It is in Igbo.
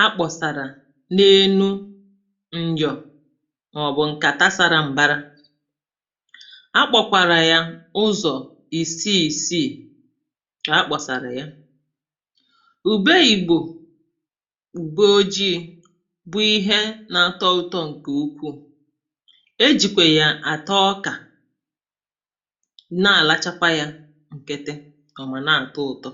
[paues]akpọ̀sàrà n’elu nnyọọ màọ̀bụ̀ ǹkàta sàrà m̀bara akpọ̀kwàrà yà ụzọ̀ ìsii ìsiì, ka akpọ̀sàrà yà ùbe ìgbò ùbe ojii̇ bụ̀ ihe na-atọ ụtọ ǹkè ukwuù e jìkwè ya àta ọkà[paues] na arachakwa ya ǹkiti kà ọ̀mà na-àtọ ụ̀tọ.